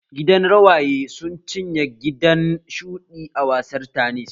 Gidan rawaye sun cinye gidan shuɗi a gasar tanis